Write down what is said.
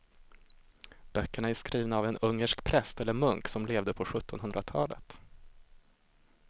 Böckerna är skrivna av en ungersk präst eller munk som levde på sjuttonhundratalet.